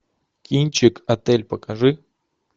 кинчик отель покажи